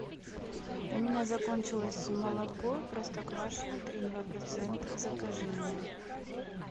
у меня закончилось молоко простоквашино три и два процента закажи мне